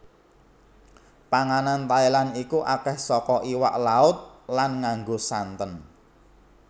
Panganan Thailand iku akeh soko iwak laut lan nganggo santen